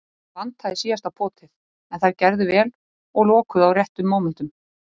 Það vantaði síðasta potið, en þær gerðu vel og lokuðu á réttum mómentum.